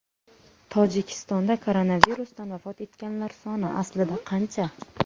Tojikistonda koronavirusdan vafot etganlar soni aslida qancha?